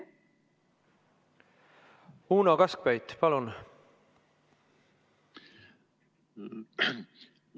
Uno Kaskpeit, palun!